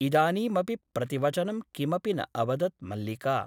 इदानीमपि प्रतिवचनं किमपि न अवदत् मल्लिका ।